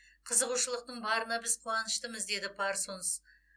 қызығушылықтың барына біз қуаныштымыз деді парсонс